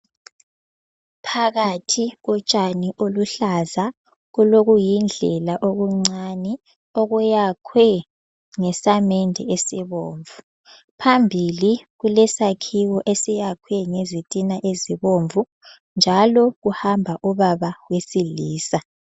Phakathi kotshani oluhlaza, kulokuyindlela okuncane okuyakhwe ngesamende esibomvu. Phambili kulesakhiwo esakhiwe ngezintina ezibomvu. Njalo kuhamba ubaba wesilisa.